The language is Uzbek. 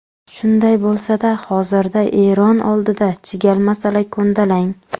Shunday bo‘lsa-da, hozirda Eron oldida chigal masala ko‘ndalang.